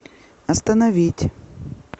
остановить